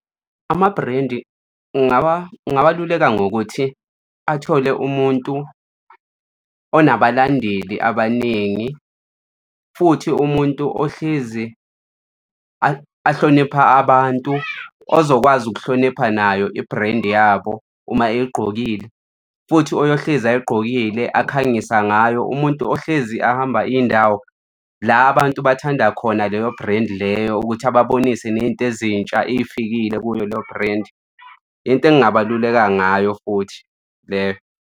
Amabhrendi ngabaluleka ngokuthi athole umuntu onabalandeli abaningi, futhi umuntu ohlezi ahlonipha abantu ozokwazi ukuhlonipha nayo ibhrendi yabo uma eyigqokile futhi oyohlezi ayigqokile akhangisa ngayo umuntu ohlezi ahamba iy'ndawo la abantu bathanda khona leyo bhrendi leyo ukuthi ababonise ney'nto ezintsha ey'fikile kuleyo bhrendi. Into engingabaluleka ngayo futhi leyo.